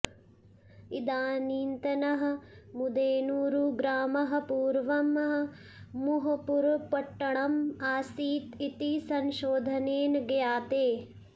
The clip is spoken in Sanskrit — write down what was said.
इदानीन्तनः मुदेनूरुग्रामः पूर्वं मुहपुरपट्टणम् आसीत् इति संशोधनेन ज्ञायते